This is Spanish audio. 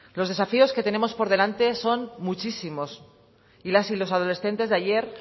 los desafíos que tenemos por delante son muchísimos y las y los adolescentes de ayer